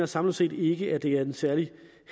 samlet set ikke at det er en særlig